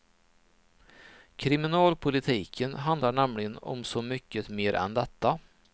Kriminalpolitiken handlar nämligen om så mycket mer än detta.